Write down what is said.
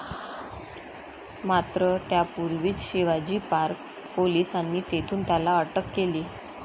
मात्र, त्यापूर्वीच शिवाजी पार्क पोलिसांनी तेथून त्याला अटक केली.